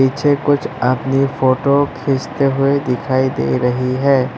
पीछे कुछ आदमी फोटो खींचते हुए दिखाई दे रही है।